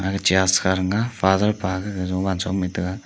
aga church kha thang ga father pa jowan cho ma a tega.